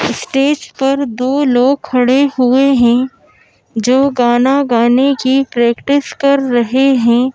Stage पर दो लोग खड़े हुए हैं जो गाना गाने की प्रैक्टिस कर रहे हैं।